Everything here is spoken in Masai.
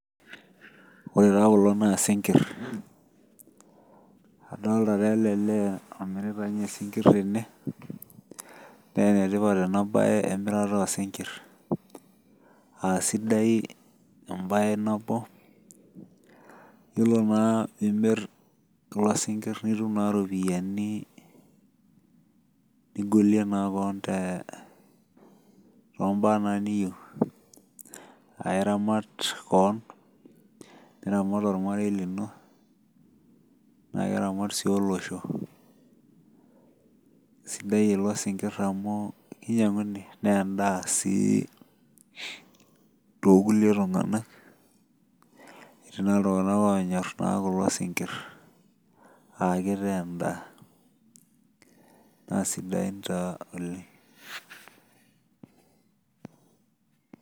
Wore taa kulo naa isinkir. Adoolta taa ele lee omirita ninye isinkir tene. Naa enetipat ena baye emirata oosinkir, aa sidai embaye nabo. Yiolo naa imirr kulo sinkir nitum naa iropiyani nigolie naa kewon toombaa naa niyieu. Aa iramat kewon, niramat olmarei lino, naa keramat sii olosho. Sidai kulo sinkir amu kinyiang; uni naa endaa sii toorkulie tung; anak. Etii naa iltung'anak oonyor naa kulo sinkir aa kitaa endaa, naa sidain taa oleng'.